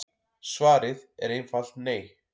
Svarið er einfalt nei.